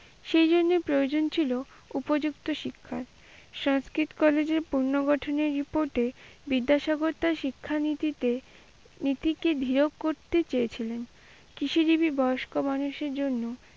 সেইজন্যে প্রয়োজন ছিল উপযুক্ত শিক্ষার। সংস্কৃত কলেজের পুর্ণগঠনী report এ বিদ্যাসাগর তার শিক্ষানীতিতে নীতিকে দিরক করতে চেয়েছিলেন, কিছু কিছু বয়স্ক মানুষের জন্য।